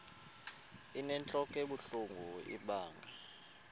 inentlok ebuhlungu ibanga